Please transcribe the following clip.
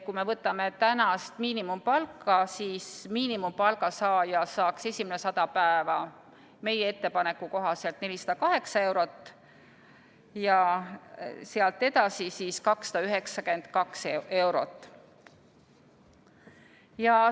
Kui me võtame tänast miinimumpalka, siis miinimumpalga saaja saaks esimene 100 päeva meie ettepaneku kohaselt 408 eurot ja sealt edasi 292 eurot.